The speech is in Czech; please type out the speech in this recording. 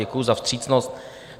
Děkuji za vstřícnost.